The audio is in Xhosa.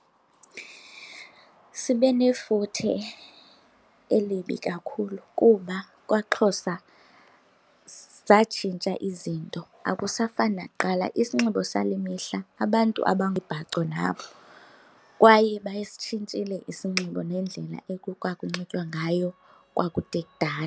Sibe nefuthe elibi kakhulu kuba kwaXhosa zatshintsha izinto, akusafani nakuqala. Isinxibo sale mihla abantu abamibhaco nabo kwaye basitshintshile isinxibo nendlela ekwakunxitywa ngayo kwakude kudala.